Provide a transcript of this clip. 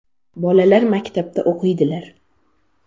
Bolalar maktabda o‘qiydilar.